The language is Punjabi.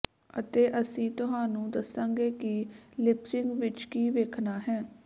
ਅਤੇ ਅਸੀਂ ਤੁਹਾਨੂੰ ਦੱਸਾਂਗੇ ਕਿ ਲੀਪਸਿਗ ਵਿਚ ਕੀ ਵੇਖਣਾ ਹੈ